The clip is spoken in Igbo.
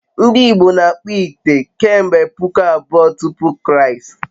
ndị Igbo n'akpu ite kemgbe puku abụọ tupu Kraịst